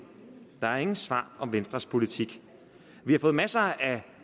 der er ingen svar om venstres politik vi har fået masser af